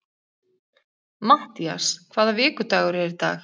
Mattías, hvaða vikudagur er í dag?